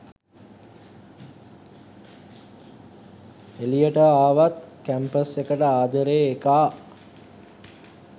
එලියට ආවත් කැම්පස් එකට ආදරේ එකා